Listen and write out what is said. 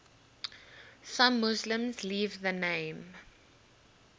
some muslims leave the name